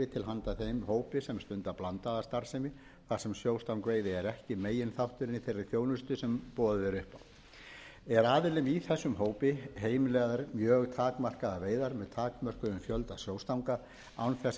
handa þeim hópi sem stundar blandaða starfsemi þar sem sjóstangveiði er ekki meginþátturinn í þeirri þjónustu sem boðið er upp á eru aðilum í þessum hópi heimilaðar mjög takmarkaðar veiðar með takmarkaðan fjölda sjóstanga án þess að leggja